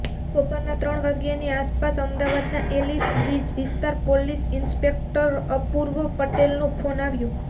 બપોરના ત્રણ વાગ્યાની આસપાસ અમદાવાદના એલિસબ્રિજ વિસ્તારના પોલીસ ઇન્સ્પેક્ટર અપૂર્વ પટેલનો ફોન આવ્યો